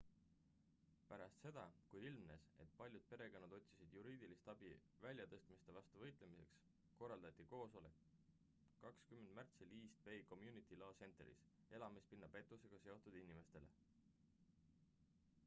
pärast seda kui ilmnes et paljud perekonnad otsisid juriidilist abi väljatõstmiste vastu võitlemiseks korraldati koosoleks 20 märtsil east bay community law centeris elamispinna pettusega seotud inimestele